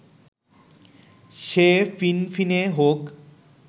সে ফিনফিনে হোক